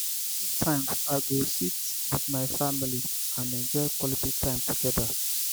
sometimes i go sit with my family and enjoy quality time together.